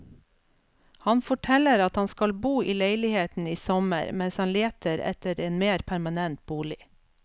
Han forteller at han skal bo i leiligheten i sommer mens han leter etter en mer permanent bolig.